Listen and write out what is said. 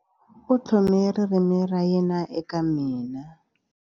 U tlhome ririmi ra yena eka mina.